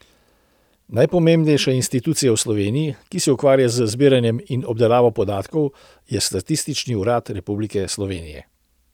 Najpomembnejša institucija v Sloveniji, ki se ukvarja z zbiranjem in obdelavo podatkov, je Statistični urad Republike Slovenije.